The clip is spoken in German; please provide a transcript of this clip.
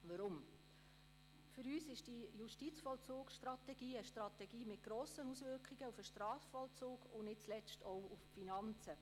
Weshalb? – Für uns ist die Justizvollzugsstrategie eine Strategie mit grossen Auswirkungen auf den Strafvollzug und nicht zuletzt auch auf die Finanzen.